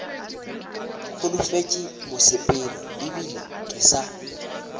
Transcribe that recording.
holofetše mosepelo ebile ke sa